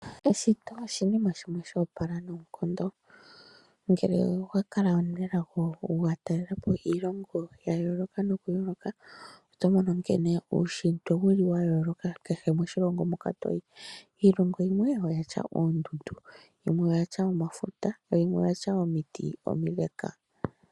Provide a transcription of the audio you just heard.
Eshito oshinima shimwe shoopala noonkondo ngele owakala omunelago wataalela po iilongo yayooloka nokuyooloka otomono nkene uushitwe wuli wayooloka kehe moshilongo moka toyi, iilongo yimwe oyatya oondundu, yo yimwe oyatya omafuta yo yimwe oyatya omiti omile.